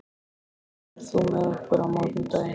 Friðjón, ferð þú með okkur á mánudaginn?